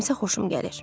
Mənim isə xoşum gəlir.